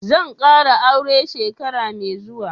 Zan kara aure shekara mai zuwa.